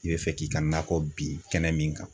I bɛ fɛ k'i ka nakɔ bin kɛnɛ min kan.